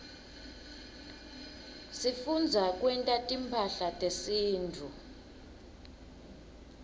sifundza kwenta timphahla tesintfu